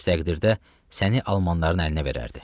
Əks təqdirdə səni almanların əlinə verərdi.